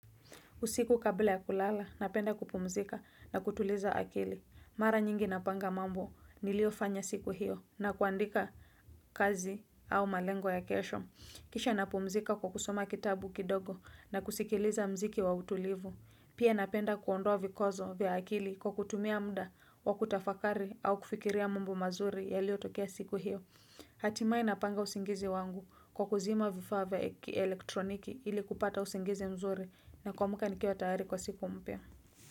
Usiku kabla ya kulala, napenda kupumzika na kutuliza akili. Mara nyingi napanga mambo, niliofanya siku hiyo na kuandika kazi au malengo ya kesho. Kisha napumzika kwa kusoma kitabu kidogo na kusikiliza mziki wa utulivu. Pia napenda kuondoa vikwazo vya akili kwa kutumia mda wa kutafakari au kufikiria mambo mazuri yaliotokea siku hiyo. Hatimae napanga usingizi wangu kwa kuzima vifaa vya elektroniki ili kupata usingizi mzuri na kuamka nikiwa tayari kwa siku mpya.